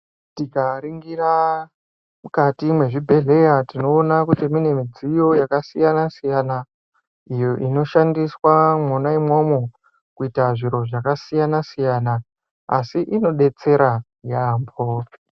Tika ningira mukati mezvi bhedhleya tinoona kuti mune midziyo yaka siyana siyana iyo ino shandiswa mwona imomo kuita zviro zvaka siyana siyana asi zvino betsera yambo.